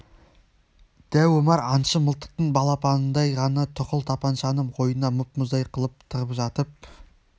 дәу омар аңшы мылтықтың балапанындай ғана тұқыл тапаншаны қойнына мұп-мұздай қылып тығып жатып